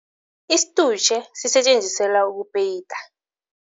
Isitutjhe sisetjenziselwa ukupeyita.